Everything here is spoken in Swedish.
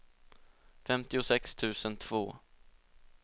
femtiosex tusen två